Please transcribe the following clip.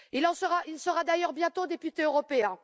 Il sera d'ailleurs bientôt député européen.